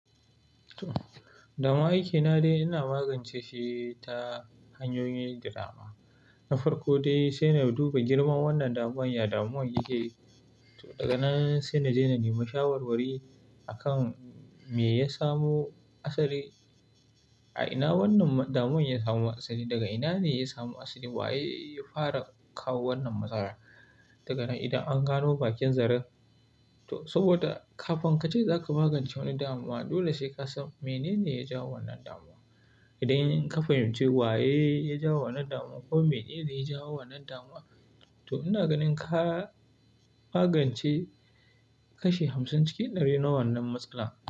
Damun aiki na dai ina magance shi ta hanyoyin dadama. Na farko dai, sai na duba girman wannan damuwan, ya damuwan yake. Daga nan sai na je na nemi shawarwari akan me ya samu asali. A ina wannan damuwan ya samu asali, daga ina ne ya samu asali, wa ye ya fara kawo wannan matsala? Daga nan idan an gano bakin zarar, to saboda kafin ka ce za ka magance wani damuwa, dole sai ka san menene ya jawo wannan damuwa. Idan ka fahimci wa ye ya jawo wannan damuwa ko menene ya jawo wannan damuwa, to ina ganin ka magance kashi hamsin na wannan matsala.